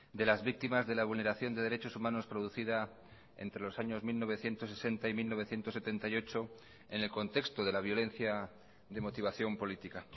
de las víctimas de la vulneración de derechos humanos producida entre los años mil novecientos sesenta y mil novecientos setenta y ocho en el contexto de la violencia de motivación política